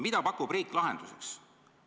Mida pakub riik lahenduseks?